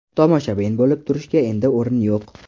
Tomoshabin bo‘lib turishga endi o‘rin yo‘q.